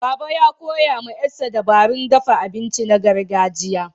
Baba, ya koya wa ƴarsa dabarun dafa abinci na gargajiya.